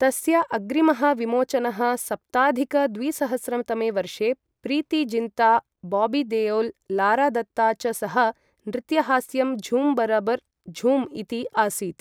तस्य अग्रिमः विमोचनः सप्ताधिक द्विसहस्रं तमे वर्षे प्रीति जिन्ता, बॉबी देओल, लारा दत्ता च सह नृत्यहास्यं झूम बरबर झूम इति आसीत् ।